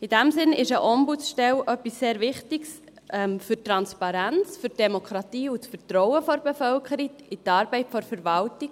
In diesem Sinn ist eine Ombudsstelle etwas sehr Wichtiges für die Transparenz, für die Demokratie und für das Vertrauen der Bevölkerung in die Arbeit der Verwaltung.